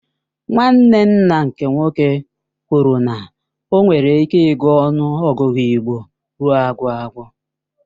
Nwanne nna nke nwoke kwụrụ na o nwere ịke ịgụ ọnụ ọgụgụ igbo ruo agwụ agwụ.